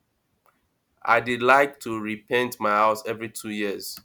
i dey like to repaint my house every two years